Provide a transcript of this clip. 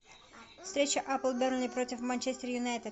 встреча апл бернли против манчестер юнайтед